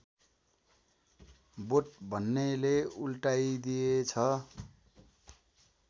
बोट भन्नेले उल्टाइदिएछ